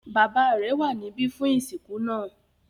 Bàbá rẹ̀ wà níbí fún ìsìnkú náà.